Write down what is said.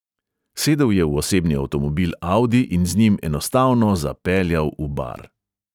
Sedel je v osebni avtomobil audi in z njim enostavno zapeljal v bar.